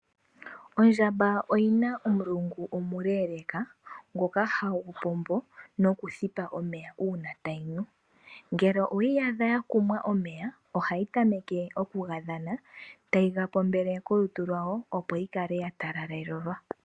Ondjamba oyina omulungu omuleeleeka ngoka hagu pombo nokuthipa omeya uuna tayi nu. Ngele oweyi adha ya kumwa omeya, ohayi tameke oku ga dhana tayi ga pombele kolutu lwawo opo yi kale ya talalelwa.